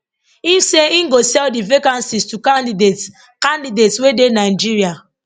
im say im go sell di vacancies to candidates candidates wey dey nigeria